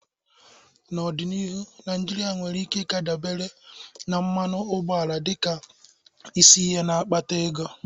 N'ọdịnihu, Naijiria nwere ike ka dabere na mmanụ ụgbọala dịka isi ihe na-akpata ego.